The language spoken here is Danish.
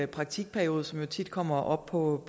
praktikperiode som jo tit kommer op på